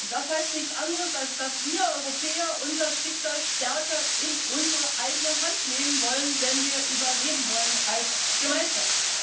Das heißt nichts anderes, als dass wir Europäer unser Schicksal stärker in unsere eigene Hand nehmen müssen, wenn wir überleben wollen als Gemeinschaft.